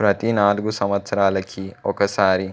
ప్రతి నాలుగు సంవత్సరాలకి ఒకసారి